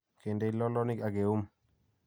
keindei lolonik ak keyum